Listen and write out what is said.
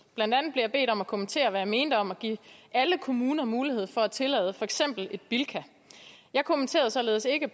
blandt andet blev jeg bedt om at kommentere hvad jeg mente om at give alle kommuner mulighed for at tillade for eksempel en bilka jeg kommenterede således ikke